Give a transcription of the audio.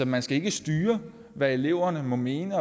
man skal ikke styre hvad eleverne må mene